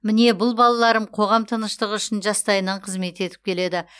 міне бұл балаларым қоғам тыныштығы үшін жастайынан қызмет етіп келеді